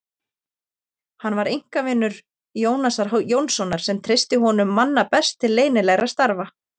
Hann var einkavinur Jónasar Jónssonar, sem treysti honum manna best til leynilegra starfa.